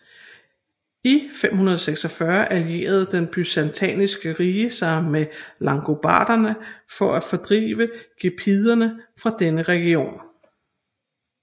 I 546 allierede Det byzantinske rige sig med langobarderne for at fordrive gepiderne fra denne region